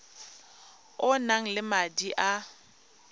o nang le madi a